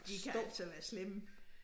De kan altså være slemme